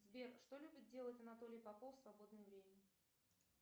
сбер что любит делать анатолий попов в свободное время